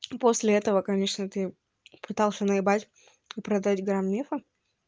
после этого конечно ты пытался наебать и продать грамм мефа